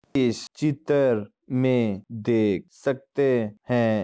इस चित्र में देख सकते हैं।